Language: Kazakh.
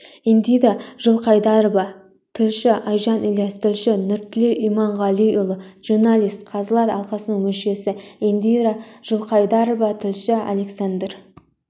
индира жылқайдарова тілші айжан ілияс тілші нұртілеу иманғалиұлы журналист қазылар алқасының мүшесі индира жылқайдарова тілші александр